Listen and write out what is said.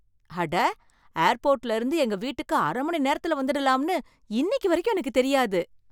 அட! ஏர்போர்ட்ல இருந்து எங்க வீட்டுக்கு அர மணிநேரத்துல வந்துடலாம்னு இன்னிக்கு வரைக்கும் எனக்குத் தெரியாது.